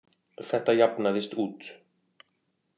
Þetta jafnaðist út.